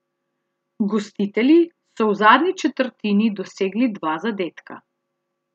Gostitelji so v zadnji četrtini dosegli dva zadetka.